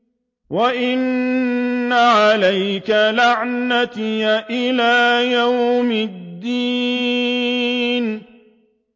وَإِنَّ عَلَيْكَ لَعْنَتِي إِلَىٰ يَوْمِ الدِّينِ